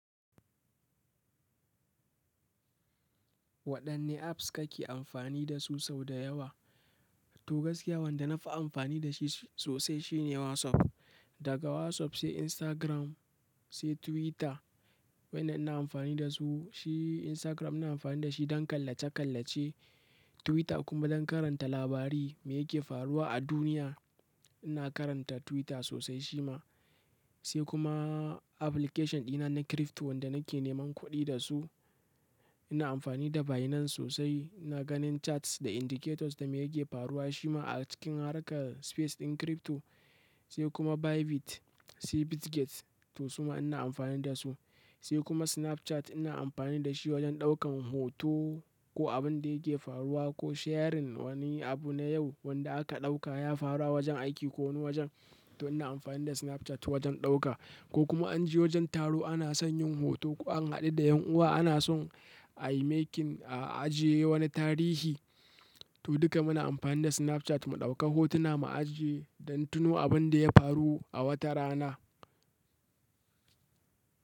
Waɗanne apps kake amfani dasu sau da yawa? To gaskiya wanda na fi amfani da shi sosai shine WhatsApp. Daga WhatsApp sai Instagram, sai Twitter. Waɗannan ina amfani da su. Shi Instagram ina amfani da shi don kallace-kallace, Twitter kuma don karanta labari me yake faruwa a duniya. Ina karanta Twitter sosai shi ma. Sai kuma application ɗina na crypto wanda nake neman kuɗi da su. Ina amfani da Binance sosai, ina ganin charts da indicators da me yake faruwa shi ma a cikin harka space ɗin crypto. Sai kuma bybit, sau kuma bitget to suma ina amfani dasu sai kuma Snapchat ina amfani da shi wajen ɗaukan hoto ko abun da yake faruwa ko sharing wani abu na yau wanda aka ɗauka ya faru a wajen aiki ko wani wajen. To ina amfani da Snapchat wajen ɗauka ko kuma an je wajen taro ana son yin hoto ko an haɗu da ƴan uwa ana son a making a ajiye wani tarihi. To duka muna amfani da Snapchat mu ɗauka hotuna mu ajiye don tuno abin da ya faru a wata rana.